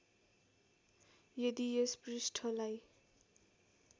यदि यस पृष्ठलाई